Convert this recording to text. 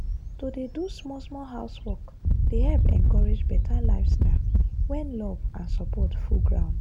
to dey do small-small housework dey help encourage better lifestyle when love and support full ground.